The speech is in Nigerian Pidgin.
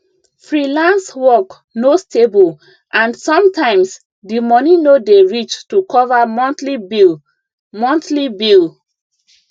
freelance work no stable and sometimes di money no dey reach to cover monthly bill monthly bill